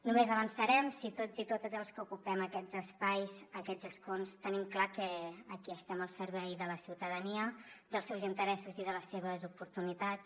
només avançarem si tots i totes els que ocupem aquests espais aquests escons tenim clar que aquí estem al servei de la ciutadania dels seus interessos i de les seves oportunitats